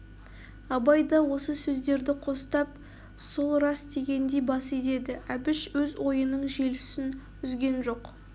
абай да осы сөздерді қостап сол рас дегендей бас изеді әбіш өз ойының желісін үзген жоқ